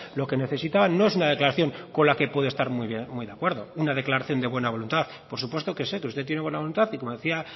lo que necesitaban no es una declaración con la que pueden estar muy de acuerdo una declaración de buena voluntad por supuesto que sé que usted tiene buena voluntad y como decía